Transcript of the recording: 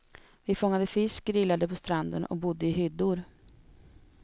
Vi fångade fisk, grillade på stranden och bodde i hyddor.